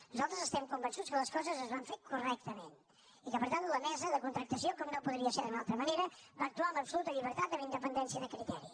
nosaltres estem convençuts que les coses es van fer correctament i que per tant la mesa de contractació com no podria ser d’una altra manera va actuar amb absoluta llibertat amb independència de criteri